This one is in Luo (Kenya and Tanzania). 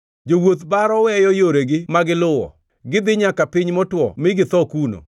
Jowuoth baro weyo yoregi ma giluwo; gidhi nyaka piny motwo mi githo kuno.